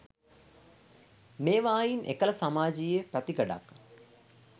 මේවායින් එකල සමාජයීය පැතිකඩක්